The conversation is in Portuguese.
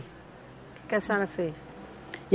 O que a senhora fez?